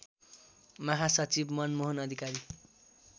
महासचिव मनमोहन अधिकारी